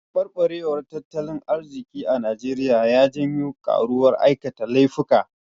Taɓarɓarewar tattalin arziki a Naijeriya ya janwo ƙaruwar aikata laifuka.